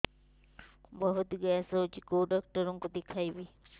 ବହୁତ ଗ୍ୟାସ ହଉଛି କୋଉ ଡକ୍ଟର କୁ ଦେଖେଇବି